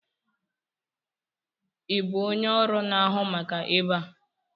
Ị bụ onye ọrụ na-ahụ maka ebe a?